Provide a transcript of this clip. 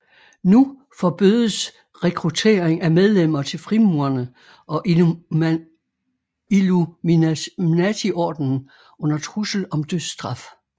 Nu forbødes rekruttering af medlemmer til frimurerne og Illuminatiordenen under trussel om dødsstraf